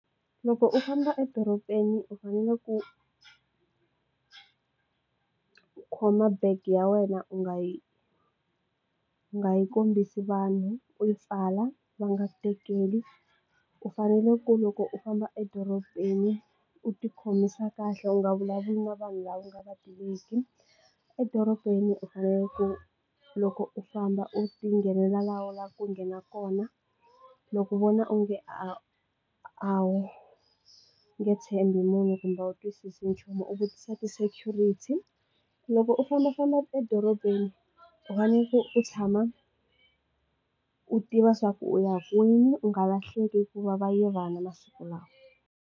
Loko u famba edorobeni u fanele ku khoma bag ya wena u nga yi u nga yi kombisi vanhu u yi pfala va nga ku tekeli u fanele ku loko u famba edorobeni u ti khomisa kahle u nga vulavuri na vanhu lava u nga va tiveki edorobeni u fanele ku loko u famba u ti nghenela la ku nghena kona loko u vona u nge a a wu nge tshembi munhu kumbe u twisisi nchumu u vutisa ti security loko u fambafamba edorobeni u faneke u tshama u tiva swa ku u ya kwini u nga lahleki ku va va yivana masiku lawa.